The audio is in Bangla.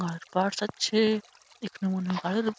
আর আছে এখানে ।